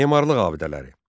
Memarlıq abidələri.